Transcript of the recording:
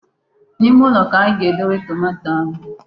N'ime ụlọ ka anyị ga-edobe tomato ahu.